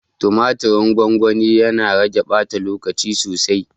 Tumatirin gwangwani, yana rage ɓata lokaci sosai.